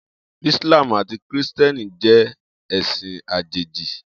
Islam ati Kristiẹniti jẹ ẹsin ajeji.